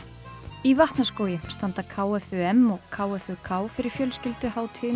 í Vatnaskógi standa k f u m og k f u k fyrir fjölskylduhátíðinni